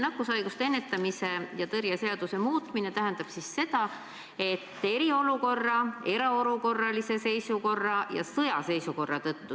Nakkushaiguste ennetamise ja tõrje seaduse muutmises on viidatud eriolukorrale, erakorralisele seisukorrale ja sõjaseisukorrale.